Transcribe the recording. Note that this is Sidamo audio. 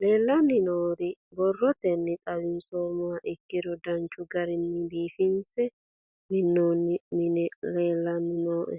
Leelanni nooerre borrotenni xawisummoha ikkiro danchu garinni biifinse minoonno minni leelanni nooe.